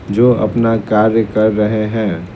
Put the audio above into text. जो अपना कार्य कर रहे है।